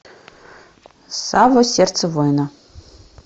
савва сердце воина